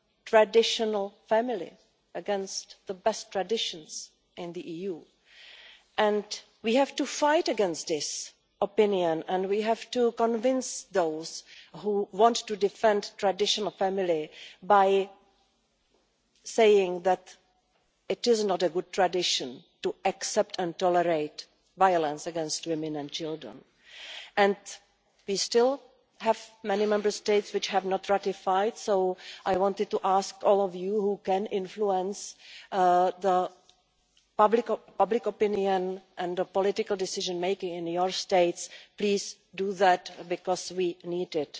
traditional family, or against the best traditions in the EU. We have to fight that opinion and we have to convince those who want to defend traditional family, by saying that it is not a good tradition to accept and tolerate violence against women and children. We still have many Member States which have not yet ratified the convention, so I want to ask all of you, who can influence public opinion and political decision making in your states, to please do that, because we need it.